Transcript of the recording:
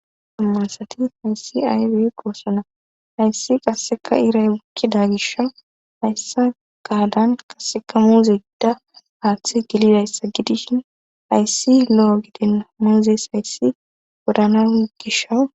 Dumma asati hayssi aybe goossona hayssi qasseka iray wukkida gisha hayssa gaadan qaseka muuze gida haaththe gilidayssa gidishin hayssi lo7o giden manzes hayssi wodana gishawu..